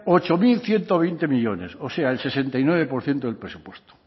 ocho mil ciento veinte millónes o sea el sesenta y nueve por ciento del presupuesto